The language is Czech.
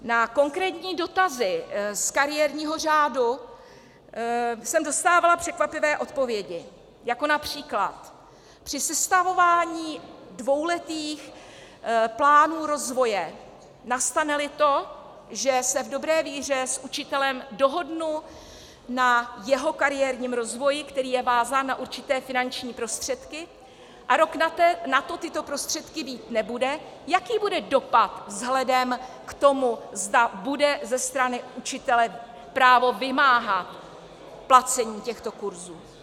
Na konkrétní dotazy z kariérního řádu jsem dostávala překvapivé odpovědi, jako například: Při sestavování dvouletých plánů rozvoje, nastane-li to, že se v dobré víře s učitelem dohodnu na jeho kariérním rozvoji, který je vázán na určité finanční prostředky, a rok nato tyto prostředky mít nebude, jaký bude dopad vzhledem k tomu, zda bude ze strany učitele právo vymáhat placení těchto kurzů?